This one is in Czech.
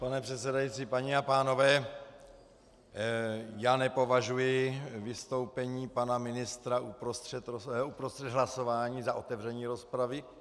Pane předsedající, paní a pánové, já nepovažuji vystoupení pana ministra uprostřed hlasování za otevření rozpravy.